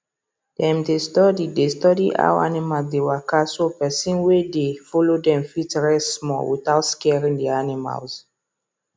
dem dey study dey study how animals dey waka so person wey dey follow dem fit rest small without scaring d animals